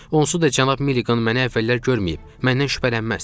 Onsuz da cənab Milliqan mənə əvvəllər görməyib, məndən şübhələnməz.